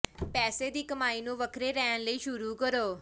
ਪੈਸੇ ਦੀ ਕਮਾਈ ਨੂੰ ਵੱਖਰੇ ਰਹਿਣ ਲਈ ਸ਼ੁਰੂ ਕਰੋ